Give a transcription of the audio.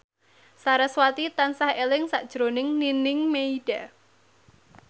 sarasvati tansah eling sakjroning Nining Meida